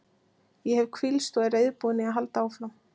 Ég hef hvílst og er reiðubúinn í að halda áfram.